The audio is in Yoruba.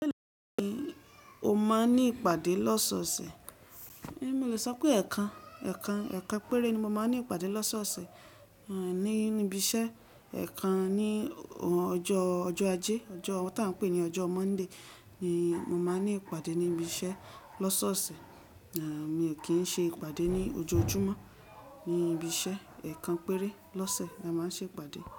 Bẹ́ẹ̀ni, mo máa ń ní ìpàdé lọ́sọ̀ọ̀sẹ̀. Emi o so pe ekan ekan ekan péré ni mo máa ń ní ìpàdé lọ́sọ̀ọ̀sẹ̀ ní ibi iṣẹ́. Ẹ̀kan ní ọjọ́ ojo ajé, ọjọ́ tá ń pè ní ọjọ́ Monday ni mo máa ń ní ìpàdé ní ibi iṣẹ́ lọ́sọ̀ọ̀sẹ̀. Mi ò kí ń ṣe ìpàdé ní ojojúmọ́ ní ibi iṣẹ́. Ẹ̀kan péré lọ́sẹ̀ la máa ń ṣe ìpàdé.